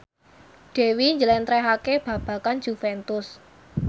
Dewi njlentrehake babagan Juventus